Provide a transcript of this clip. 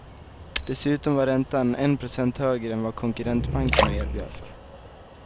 Dessutom var räntan en procent högre än vad konkurrentbankerna erbjöd.